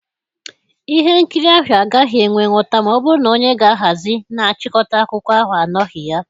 Ihe nkiri ahụ agaghị enwe nghota ma ọ bụrụ na onye ga ahazi na chịkọta akụkọ ahụ anọghị ya.